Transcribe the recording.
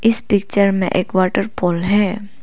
इस पिक्चर में एक वाटर पूल है।